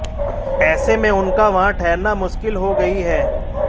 ऐसे में उनका वहां ठहरना मुश्किल हो गई है